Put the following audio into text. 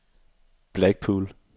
Blackpool